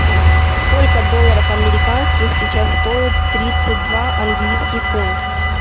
сколько долларов американских сейчас стоит тридцать два английский фунт